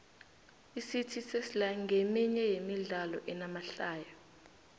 icity sesla nqeminye yemidlalo enamahlaya